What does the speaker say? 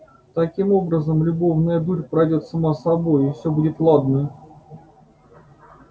таким образом любовная дурь пройдёт сама собою и все будет ладно